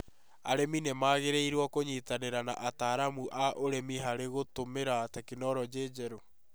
Arĩmi nĩ magĩrĩirũo kũnyitaĩira na ataramu a ũrĩmi hari gũtũmĩra tekinoronjĩ njerũ